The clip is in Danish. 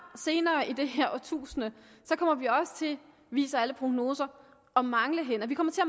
senere i det her årtusind kommer vi også til viser alle prognoser at mangle hænder vi kommer til